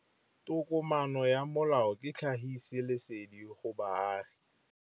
Tokomane ya molao ke tlhagisi lesedi go baagi.